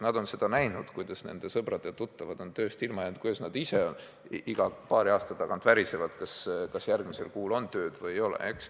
Nad on näinud, kuidas nende sõbrad ja tuttavad on tööst ilma jäänud, kuidas nad ise iga paari aasta tagant värisevad, kas järgmisel kuul on tööd või ei ole.